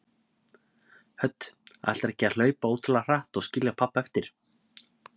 Hödd: Ætlarðu ekki að hlaupa ótrúlega hratt og skilja pabba eftir?